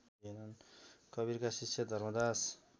कवीरका शिष्य धर्मदास